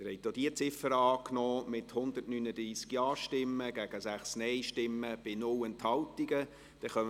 Sie haben auch diese Ziffer mit 139 Ja- gegen 6 Nein-Stimmen bei 0 Enthaltungen angenommen.